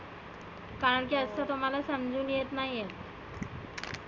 कारण की App चं तुम्हाला समजुन येत नाहिए.